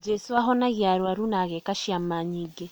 Jesu ahonagia arwaru na ageka ciama nyingĩ.